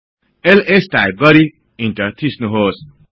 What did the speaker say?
LS type गरि enter थिच्नुहोस्